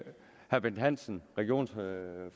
er bent hansen regionsformanden